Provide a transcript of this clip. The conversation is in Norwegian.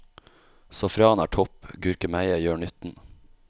Safran er topp, gurkemeie gjør nytten.